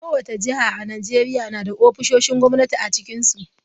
Kowace jiha a Najeriya na da ofisoshin gwamnati a cikinsu.